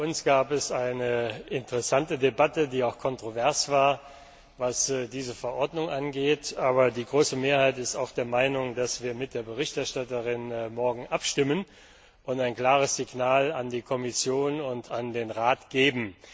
Auch bei uns gab es eine interessante Debatte, die auch kontrovers war, was diese Verordnung angeht, aber die große Mehrheit ist auch der Meinung, dass wir morgen mit der Berichterstatterin abstimmen und ein klares Signal an die Kommission und den Rat geben.